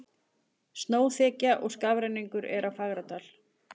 Snjóþekja og skafrenningur er á Fagradal